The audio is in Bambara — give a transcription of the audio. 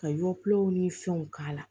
Ka yɔgulɔw ni fɛnw k'a la